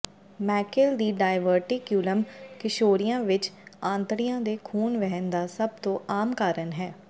Meckel ਦੀ diverticulum ਕਿਸ਼ੋਰੀਆਂ ਵਿਚ ਆਂਤੜੀਆਂ ਦੇ ਖੂਨ ਵਹਿਣ ਦਾ ਸਭ ਤੋਂ ਆਮ ਕਾਰਨ ਹੈ